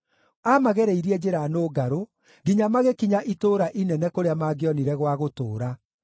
Aamagereirie njĩra nũngarũ, nginya magĩkinya itũũra inene kũrĩa mangĩonire gwa gũtũũra.